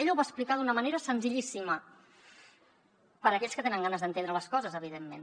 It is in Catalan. ella ho va explicar d’una manera senzillíssima per a aquells que tenen ganes d’entendre les coses evidentment